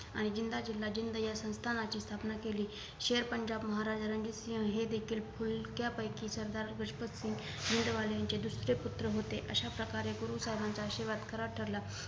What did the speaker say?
आणि जिंदा जिला जिंद या संस्थानाची स्थानणा केली शेर पंजाब महाराजा रणजीत सिंह हे देखील फुलक्यापेकी महाराजा दुष्पत सिंह जिंदालाचे दुसरे पुत्र होते अशा प्रकारे गुरु साहेबांचा आशीर्वाद खरा ठरला